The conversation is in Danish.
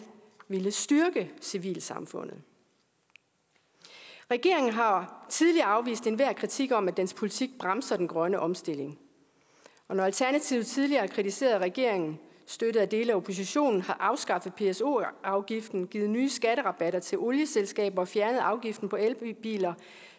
ville styrke civilsamfundet regeringen har tidligere afvist enhver kritik om at dens politik bremser den grønne omstilling og når alternativet tidligere har kritiseret at regeringen støttet af dele af oppositionen har afskaffet pso afgiften givet nye skatterabatter til olieselskaber og fjernet afgiften på elbiler